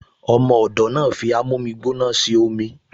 Ọmọ ọ̀dọ̀ náà fi amómígbóná ṣe omi